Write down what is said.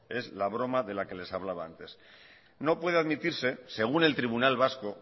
es la broma de la que les hablaba antes no puede admitirse según el tribunal vasco